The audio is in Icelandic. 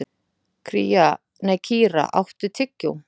Kíra, áttu tyggjó?